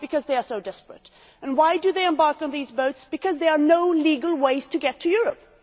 Because they are so desperate, and they embark on these boats because there are no legal ways to get to Europe.